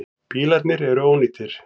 Bílarnir eru ónýtir.